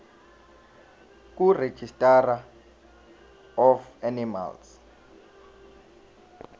kuregistrar of animals